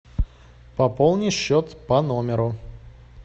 пополни счет по номеру